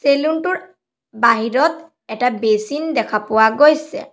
Salon টোৰ বাহিৰত এটা বেচিন দেখা পোৱা যায় গৈছে।